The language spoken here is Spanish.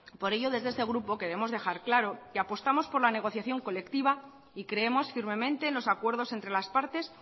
por ello desde este grupo queremos dejar claro que apostamos por la negociación colectiva y creemos firmemente en los acuerdos entre las partes